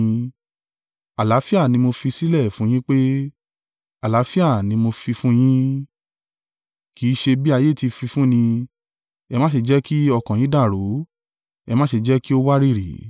Àlàáfíà ni mo fi sílẹ̀ fún yín pé, àlàáfíà mi ni mo fi fún yin, kì í ṣe bí ayé ti fi fún ni. Ẹ má ṣe jẹ́ kí ọkàn yín dàrú, ẹ má sì jẹ́ kí ó wárìrì.